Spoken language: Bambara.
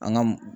An ka m